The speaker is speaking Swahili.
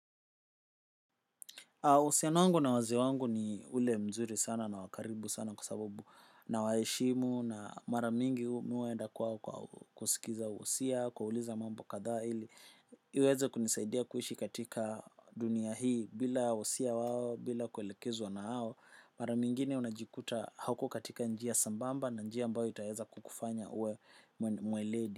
Usian wangu na waze wangu ni ule mzuri sana na wakaribu sana kwasabsbu na waheshimu na maramingi mihuenda kwa kusikiza husia, kuwauliza mambo kathaa ili. Iweza kunisaidia kuishi katika dunia hii bila usia wao, bila kuelekezwa na hao. Mara mingine unajikuta hauko katika njia sambamba na njia mbao itaweza kukufanya uwe mweledi.